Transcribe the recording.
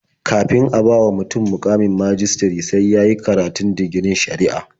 Kafin a bawa mutum muƙamin majistare sai ya yi karatun digirin shari'a.